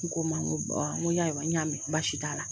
N ko o ma n ko n ko ayiwa n y'a mɛn baasi t'a la.